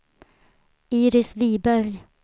Iris Wiberg